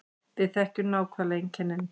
Við þekkjum nákvæmlega einkennin